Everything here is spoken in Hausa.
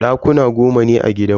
Dakuna goma ne a gidanmu.